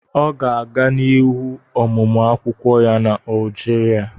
Ọ ga-aga n'ihu ọmụmụ akwukwo ya na Algeria